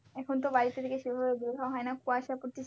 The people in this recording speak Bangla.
এখন তো বাড়ি থেকে সেভাবে বের হওয়া হয়না কুয়াশা পড়তিছে।